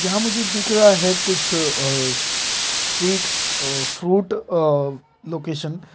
यहाँ मुझे दिख रहा है कुछ uh street fruit uh location --